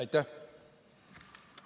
Aitäh!